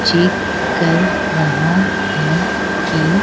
check कर रहा है कि--